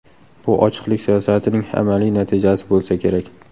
Bu ochiqlik siyosatining amaliy natijasi bo‘lsa kerak.